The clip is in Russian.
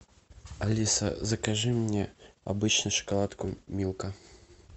алиса закажи мне обычную шоколадку милка